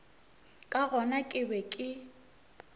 ka gona ke be ke